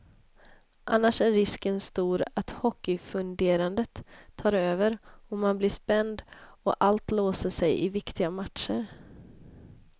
Annars är risken stor att hockeyfunderandet tar över, man blir spänd och allt låser sig i viktiga matcher.